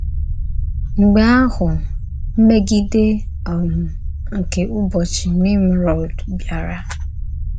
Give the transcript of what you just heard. Mgbe ahụ, mmègìdè um nke ùbọ̀chí Nímròd bịàrā.